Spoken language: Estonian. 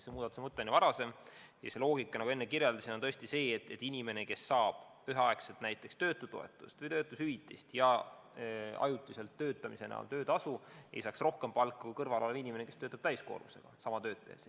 See muudatuse mõte oli varasem ja loogika, nagu ma enne kirjeldasin, on see, et inimene, kes saab üheaegselt töötutoetust või töötushüvitist ja ajutiselt töötamise eest ka töötasu, ei saaks kokku rohkem raha kui inimene, kes töötab täiskoormusega sama tööd tehes.